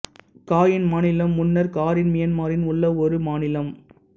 coin மாநிலம் முன்னர் Karen மியான்மரின் உள்ள ஒரு மாநிலம்